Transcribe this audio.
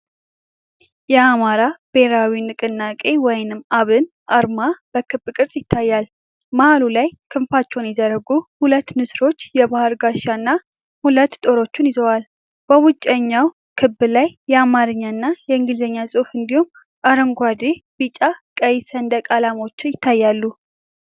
የአማራ ብሔራዊ ንቅናቄ (አብን) አርማ በክብ ቅርጽ ይታያል። መሃሉ ላይ ክንፋቸውን የዘረጉ ሁለት ንስሮች የባህል ጋሻና ሁለት ጦሮች ይዘዋል። በውጭኛው ክብ ላይ የአማርኛና የእንግሊዝኛ ጽሑፍ እንዲሁም አረንጓዴ፣ ቢጫና ቀይ ሰንደቅ ዓላማዎች ይታያሉ።